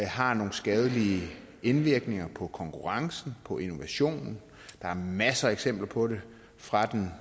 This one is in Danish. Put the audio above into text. har nogle skadelige indvirkninger på konkurrencen på innovationen der er masser af eksempler på det fra den